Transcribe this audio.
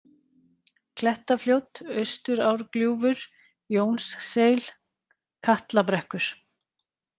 Klettafljót, Austurárgljúfur, Jónsseil, Katlabrekkur